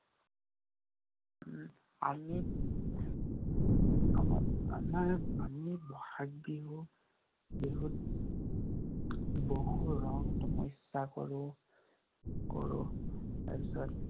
উম আমি আমাৰ আমি বহাগ বিহু~ বিহুত বহু ৰং সমস্যা কৰো, কৰো। তাৰপিছত